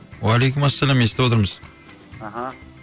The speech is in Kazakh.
уалейкумәссәләм естіп отырмыз аха